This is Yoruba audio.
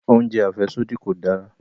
Oúnjẹ àfẹ́sódì kò dára